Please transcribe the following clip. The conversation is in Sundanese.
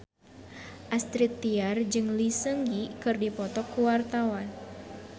Astrid Tiar jeung Lee Seung Gi keur dipoto ku wartawan